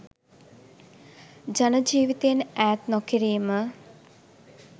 ජන ජීවිතයෙන් ඈත් නොකිරීම